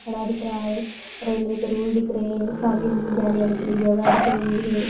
खड़ा दिख रहा है रेलवे की रेल दिख रही है सामने जाने आने के लिए जगह दिख रही है।